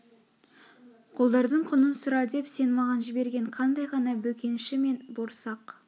қодардың құнын сұра деп сен маған жіберген қандай ғана бөкенші мен борсақ